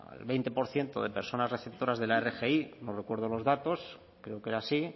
al veinte por ciento de personas receptoras de la rgi no recuerdo los datos creo que era así